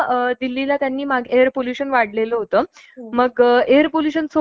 आर्यभट्ट आणि इतर भारतीय गणितज्ञांनुसार महाभारत इसवी सन पूर्व एकतीसशे छत्तीस या वर्षी घडले.